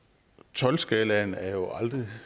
tolv skalaen er jo aldrig